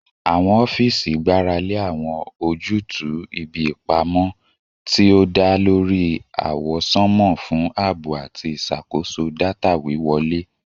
Awọn ọfiisi gbarale awọn ojutu ibi ipamọ ti o da lori awọsanma fun aabo ati iṣakoso data wiwọle